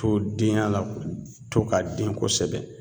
To denya la k to ka den kosɛbɛ